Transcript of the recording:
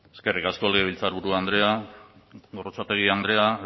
eskerrik asko legebiltzarburu andrea gorrotxategi andrea